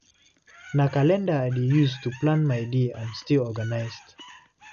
Na calendar I dey use to plan my day and stay organized.